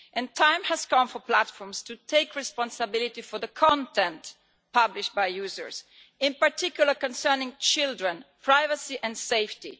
The time has come for platforms to take responsibility for the content published by users in particular concerning children, privacy and safety.